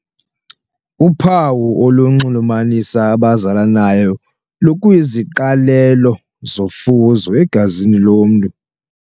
Uphawu olunxulumanisa abazalanayo lukwiziqalelo zofuzo egazini lomntu.